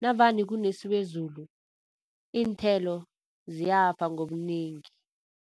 Navane kenesiwezulu iinthelo ziyafa ngobunengi.